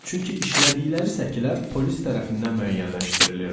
Çünki işlədikləri səkilər polis tərəfindən müəyyənləşdirilirdi.